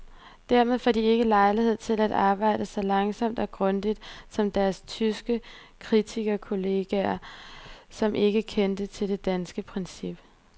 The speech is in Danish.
Dermed får de ikke lejlighed til at arbejde så langsomt og grundigt som deres tyske kritikerkolleger, som ikke kender til det danske princip.